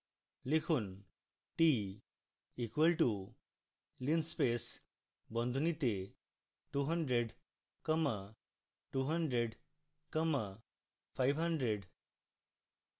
লিখুন t equals to linspace বন্ধনীতে 200 comma 200 comma 500